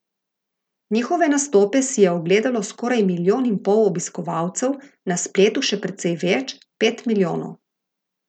Njihove nastope si je ogledalo skoraj milijon in pol obiskovalcev, na spletu še precej več, pet milijonov.